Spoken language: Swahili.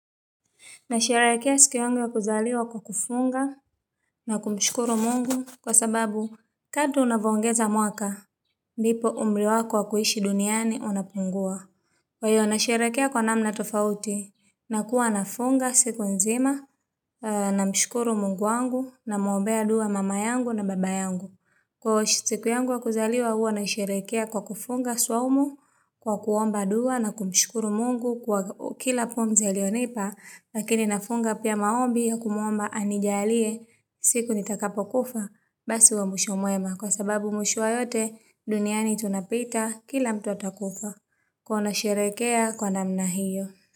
Nasherehekea siku yangu ya kuzaliwa kwa kufunga. Na kumshukuru mungu kwa sababu, kato unavyoongeza mwaka, ndipo umri wako wa kuhishi duniani unapungua. Kwa hiyo, nasherehekea kwa namna tofauti. Nakuwa nafunga siku nzima, na mshukuru mungu wangu namuombea dua mama yangu na baba yangu. Siku yangu ya kuzaliwa huwa naisherehekea kwa kufunga swaumu, kwa kuomba dua na kumshukuru mungu kwa kila pomzi aliyonipa. Lakini nafunga pia maombi yakumuomba anijalie. Siku nitakapo kufa. Basi huwe mwisho mwema kwa sababu mwisho wa yote. Duniani tunapita kila mtu atakufa. Kuwa nanisherehekea kwa namna hiyo.